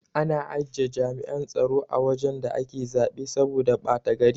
Ana ajiye jami'an tsaro a wajan da ake zaɓe saboda bata gari